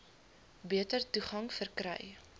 beter toegang verkry